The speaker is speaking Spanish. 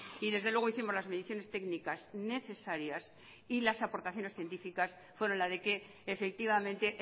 y desde luego hicimos las mediciones técnicas necesarias y las aportaciones científicas fueron la de que efectivamente